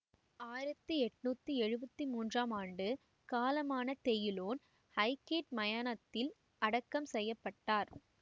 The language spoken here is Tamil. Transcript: ஆயிரத்தி எண்ணூற்றி எழுவத்தி மூன்றாம் ஆண்டு காலமான தெயுலோன் ஐகேட் மயானத்தில் அடக்கம் செய்ய பட்டார்